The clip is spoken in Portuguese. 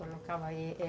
Colocava aí.